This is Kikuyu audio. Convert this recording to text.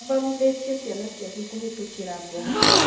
Athomithĩtie ciana ciake kũhetũkĩra mboga